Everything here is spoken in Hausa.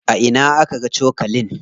A ina aka ga cokalin?